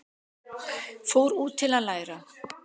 Fóru út til að læra